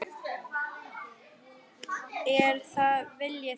Er það vilji þinn?